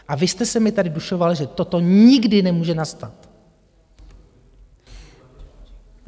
A vy jste se mi tady dušoval, že toto nikdy nemůže nastat.